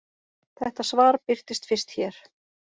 Þetta svar birtist fyrst hér.